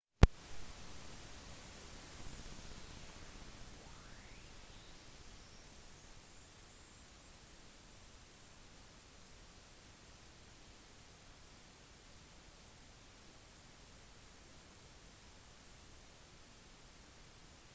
mapuche var en av de nyligste selvstendige amerikanske gruppene med urfolk som ikke var absorbert inn i spanskpratende styre før etter chiles uavhengighet